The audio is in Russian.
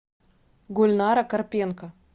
гульнара карпенко